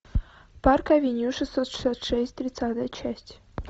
парк авеню шестьсот шестьдесят шесть тридцатая часть